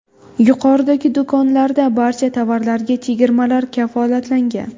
Yuqoridagi do‘konlarda barcha tovarlarga chegirmalar kafolatlangan.